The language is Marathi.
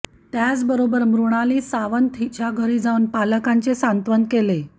त्याचबरोबर मृणाली सावंत हिच्या घरी जावून पालकांचे सांत्वन केले